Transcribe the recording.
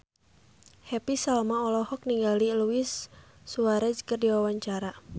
Happy Salma olohok ningali Luis Suarez keur diwawancara